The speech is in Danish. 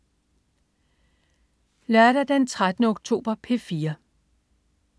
Lørdag den 13. oktober - P4: